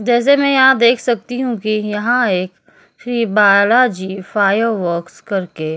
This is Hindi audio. जैसे मैं यहाँ देख सकती हूँ यहाँ एक बालाजी फायर वर्क्स करके एक --